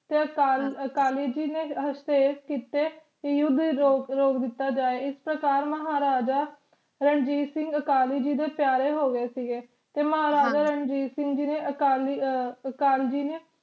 ਤੇ ਅਕਾਲੀ ਜੀ ਨੇ ਹਾਸਤੇਕ ਕੀਤੇ ਕਿ ਯੁੱਧ ਰੋਕ ਦਿੱਤੋ ਜਾਵੇ ਇਸ ਪ੍ਰਕਾਰ ਮਹਾਰਾਜਾ ਰਣਜੀਤ ਸਿੰਘ ਅਕਾਲੀ ਜੀ ਦੇ ਪਯਾਰੇ ਹੋਗਏ ਸੀਗੇ ਤੇ ਮਹਾਰਾਜਾ ਰਣਜੀਤ ਸਿੰਘ ਜੀ ਨੇ ਅਕਾਲੀ